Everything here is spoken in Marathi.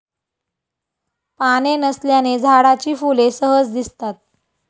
पाने नसल्याने झाडाची फुले सहज दिसतात.